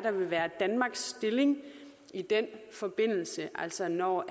der vil være danmarks stilling i den forbindelse altså når